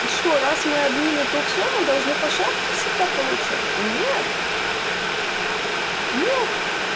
и что раз мы админ это всё мы должны по шапке всегда получать то нет нет